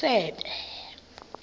isebe